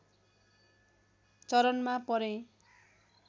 चरणमा परे